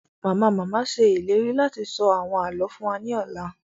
Mama-mama ṣe ìlérí láti sọ àwọn àlọ fún wa ni ọla